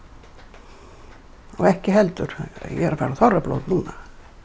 og ekki heldur ég er að fara á þorrablót núna